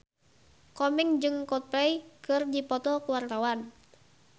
Komeng jeung Coldplay keur dipoto ku wartawan